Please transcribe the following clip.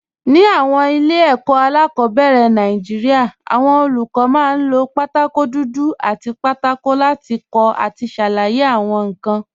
Ní àwọn ilé ẹ̀kọ́ alákọ̀ọ́bẹ̀rẹ̀ Nàìjíríà, àwọn olùkọ́ máa ń lo pátákó dúdú àti pátákó láti kọ àti ṣàlàyé àwọn nǹkan.